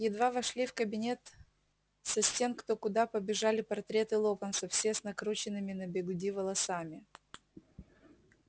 едва вошли в кабинет со стен кто куда побежали портреты локонса все с накрученными на бигуди волосами